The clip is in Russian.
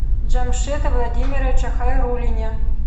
джамшеде владимировиче хайруллине